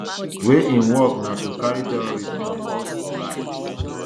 wey im work na to carry tourists on horse rides